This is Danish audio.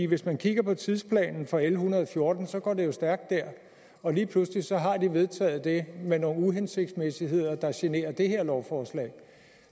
hvis man kigger på tidsplanen for l en hundrede og fjorten så går det jo stærkt der og lige pludseligt har de vedtaget det med nogle uhensigtsmæssigheder der generer det her lovforslag